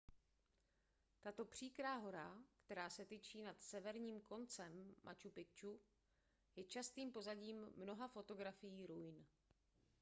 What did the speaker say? tato příkrá hora která se tyčí nad severním koncem machu picchu je častým pozadím mnoha fotografií ruin